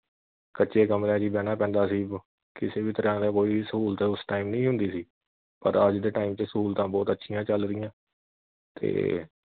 ਕੱਚੇ ਕਮਰਿਆਂ ਵਿਚ ਹੀ ਬਹਿਣਾ ਪੈਂਦਾ ਸੀ ਕਿਸੇ ਵੀ ਤਰਾਂ ਦਾ ਕੋਈ ਸਹੂਲਤ ਉਸ time ਨਹੀਂ ਹੁੰਦੀ ਸੀ ਪਰ ਅੱਜ ਦੇ time ਤੇ ਸਹੂਲਤਾਂ ਬਹੁਤ ਅਁਛੀਆਂ ਚੱਲ ਰਹੀਆਂ ਤੇ